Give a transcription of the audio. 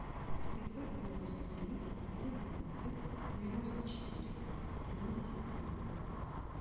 пятьсот девяносто три девятнадцать девяносто четыре семьдесят семь